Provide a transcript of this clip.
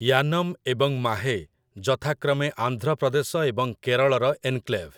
ୟାନମ୍ ଏବଂ ମାହେ ଯଥାକ୍ରମେ ଆନ୍ଧ୍ରପ୍ରଦେଶ ଏବଂ କେରଳର ଏନକ୍ଲେଭ୍ ।